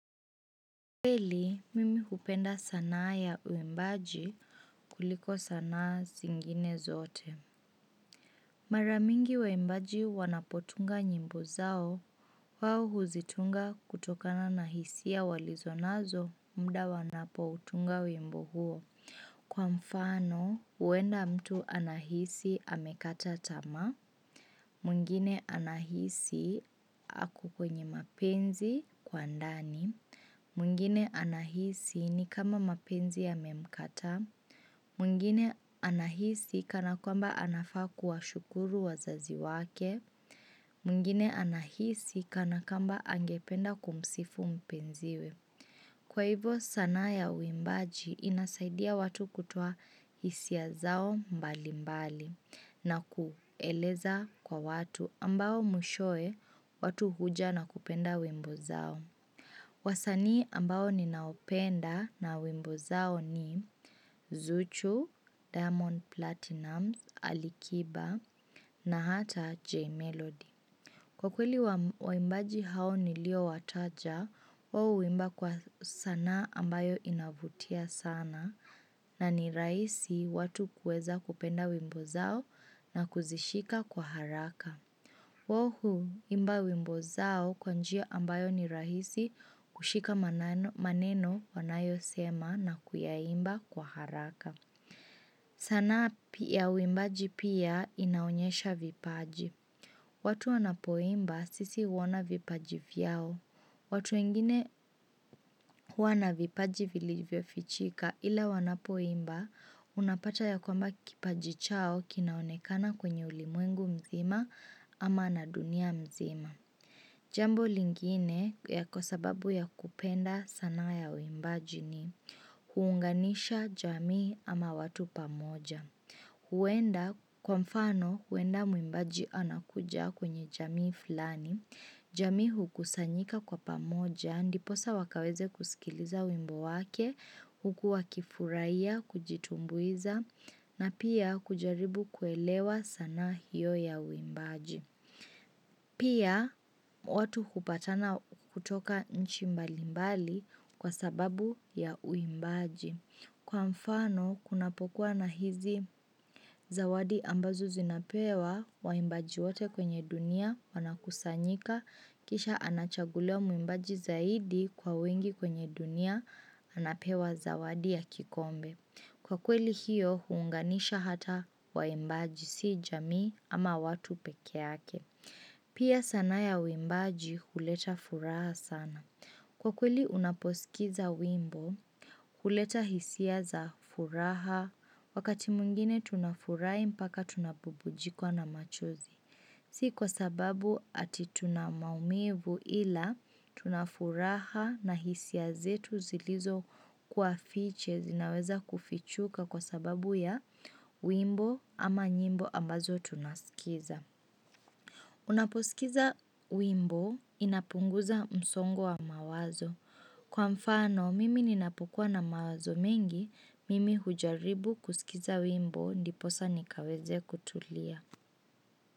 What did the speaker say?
Kweli, mimi hupenda sanaa ya uimbaji kuliko sanaa zingine zote. Mara mingi waimbaji wanapotunga nyimbo zao, wao huzitunga kutokana na hisia walizo nazo muda wanapoutunga wimbo huo. Kwa mfano, huenda mtu anahisi amekata tamaa, mwingine anahisi ako kwenye mapenzi kwa ndani, mwingine anahisi ni kama mapenzi yamemkataa, mwingine anahisi kana kwamba anafaa kuwashukuru wazazi wake, mwngine anahisi kana kwamba angependa kumsifu mpenziwe. Kwa hivo sanaa ya uimbaji inasaidia watu kutoa hisia zao mbalimbali na kueleza kwa watu ambao mwishowe, watu huja na kupenda wimbo zao. Wasanii ambao ninaopenda na wimbo zao ni Zuchu, Diamond Platnumz, Alikiba na hata J Melody. Kwa kweli waimbaji hao niliowataja, wao huimba kwa sanaa ambayo inavutia sana na ni rahisi watu kuweza kupenda wimbo zao na kuzishika kwa haraka. Wao huimba wimbo zao kwa njia ambayo ni rahisi kushika maneno wanayosema na kuyaimba kwa haraka. Sanaa ya uimbaji pia inaonyesha vipaji. Watu wanapoimba sisi huona vipaji vyao. Watu wengine huwa na vipaji vilivyofichika ila wanapoimba unapata ya kwamba kipaji chao kinaonekana kwenye ulimwengu mzima ama na dunia nzima. Jambo lingine ya kwa sababu ya kupenda sanaa ya uimbaji ni huunganisha jamii ama watu pamoja. Huenda, kwa mfano, huenda mwimbaji anakuja kwenye jamii fulani. Jamii hukusanyika kwa pamoja, ndiposa wakaweze kusikiliza wimbo wake, huku wakifurahiya, kujitumbuiza, na pia kujaribu kuelewa sanaa hiyo ya uimbaji. Pia watu hupatana kutoka nchi mbalimbali kwa sababu ya uimbaji. Kwa mfano kunapokua na hizi zawadi ambazo zinapewa waimbaji wote kwenye dunia wanakusanyika kisha anachaguliwa mwimbaji zaidi kwa wengi kwenye dunia anapewa zawadi ya kikombe. Kwa kweli hiyo, huunganisha hata waimbaji, si jamii ama watu peke yake. Pia sanaa ya uimbaji, huleta furaha sana. Kwa kweli, unaposikiza wimbo, huleta hisia za furaha, wakati mwingine tunafurahi mpaka tunabubujikwa na machozi. Si kwa sababu ati tuna maumivu, ila tuna furaha na hisia zetu zilizo kuwa fiche zinaweza kufichuka kwa sababu ya wimbo ama nyimbo ambazo tunasikiza. Unaposikiza wimbo inapunguza msongo wa mawazo. Kwa mfano, mimi ninapokua na mawazo mengi, mimi hujaribu kusikiza wimbo ndiposa nikaweze kutulia.